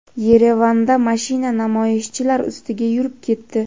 Yerevanda mashina namoyishchilar ustiga yurib ketdi.